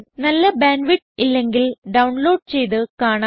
നല്ല bandwidth ഇല്ലെങ്കിൽ download ചെയ്ത് കാണാവുന്നതാണ്